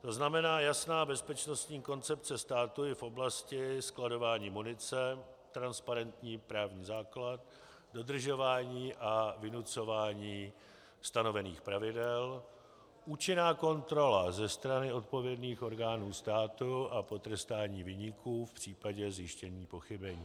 To znamená jasná bezpečnostní koncepce státu i v oblasti skladování munice, transparentní právní základ, dodržování a vynucování stanovených pravidel, účinná kontrola ze strany odpovědných orgánů států a potrestání viníků v případě zjištění pochybení.